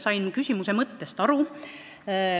Sain küsimuse mõttest aru.